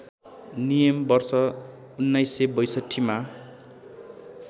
नियम वर्ष १९६२मा